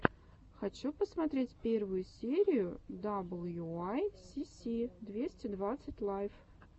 хочу посмотреть первую серию даблюуайсиси двести двадцать лайв